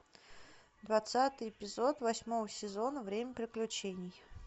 двадцатый эпизод восьмого сезона время приключений